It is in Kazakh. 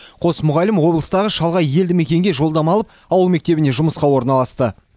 қос мұғалім облыстағы шалғай елді мекенге жолдама алып ауыл мектебіне жұмысқа орналасты